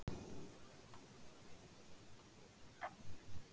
Í þau fáu skipti sem hugurinn reikaði til hennar fann hann fyrir mikilli sektarkennd.